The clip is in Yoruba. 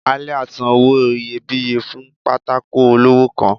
Aliat san owo iyébiye fún pàtàkó olọwọ kán